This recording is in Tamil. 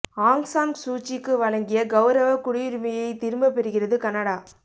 ஆங் சான் சூச்சிக்கு வழங்கிய கௌரவ குடியுரிமையை திரும்பப் பெறுகிறது கனடா